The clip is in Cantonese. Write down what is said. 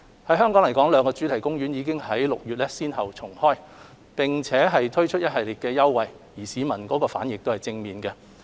以香港來說，兩個主題公園已於6月先後重開，並推出一系列優惠，市民反應正面。